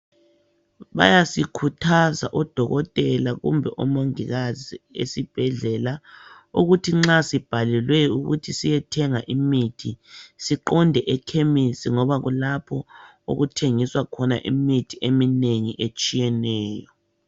bayasikhuthaza o dokotela kumbe o mongikazi esibhedlela ukuthi nxa sibhalelwe ukuthi siyethenga imithi siqonde ekhemisi ngoba kulapho okuthengiswa khona imithi eminengi etshiyeneyo